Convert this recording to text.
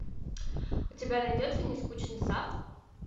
у тебя найдется нескучный сад